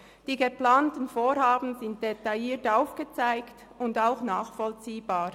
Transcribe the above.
Die geplanten Vorhaben sind detailliert aufgezeigt und auch nachvollziehbar.